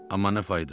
Amma nə fayda?